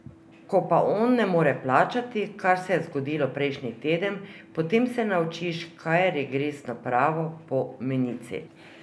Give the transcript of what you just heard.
Ko pa on ne more plačati, kar se je zgodilo prejšnji teden, potem se naučiš, kaj je regresno pravo po menici.